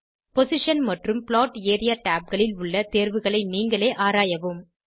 position மற்றும் plot area tabகளில் உள்ள தேர்வுகளை நீங்களே ஆராயவும்